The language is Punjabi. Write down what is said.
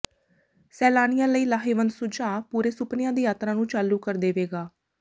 ਸੈਲਾਨੀਆਂ ਲਈ ਲਾਹੇਵੰਦ ਸੁਝਾਅ ਪੂਰੇ ਸੁਪਨਿਆਂ ਦੀ ਯਾਤਰਾ ਨੂੰ ਚਾਲੂ ਕਰ ਦੇਵੇਗਾ